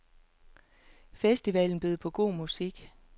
Festivalen bød på god musik.